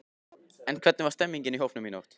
En hvernig var stemningin í hópnum í nótt?